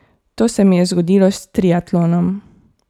To se mi je zgodilo s triatlonom.